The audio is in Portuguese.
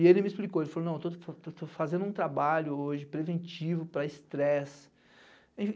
E ele me explicou, ele falou não, estou estou fazendo um trabalho hoje preventivo para estresse.